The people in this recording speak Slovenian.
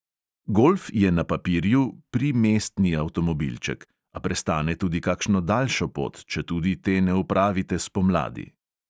Golf je na papirju (pri)mestni avtomobilček, a prestane tudi kakšno daljšo pot, četudi te ne opravite spomladi.